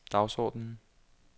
dagsordenen